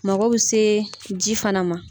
Mako be se ji fana ma.